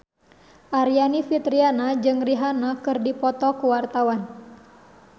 Aryani Fitriana jeung Rihanna keur dipoto ku wartawan